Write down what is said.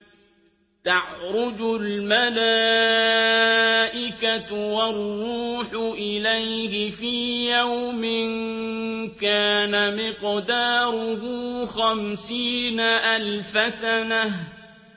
تَعْرُجُ الْمَلَائِكَةُ وَالرُّوحُ إِلَيْهِ فِي يَوْمٍ كَانَ مِقْدَارُهُ خَمْسِينَ أَلْفَ سَنَةٍ